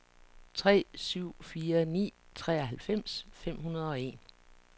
tre syv fire ni treoghalvfems fem hundrede og en